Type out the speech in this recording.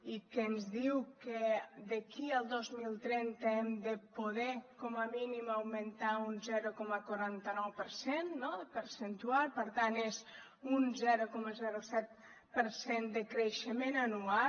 i que ens diu que d’aquí al dos mil trenta hem de poder com a mínim augmentar un zero coma quaranta nou per cent percentual per tant és un zero coma set per cent de creixement anual